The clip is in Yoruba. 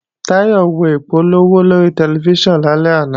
Táyọ̀ wo ìpolówó lórí tẹlifíṣàn lálẹ́ àná